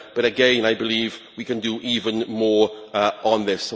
but again I believe we can do even more on this.